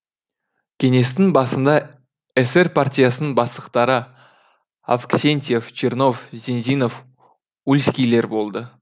кеңестің басында эсер партиясының бастықтары авксентьев чернов зензинов ульскийлер болды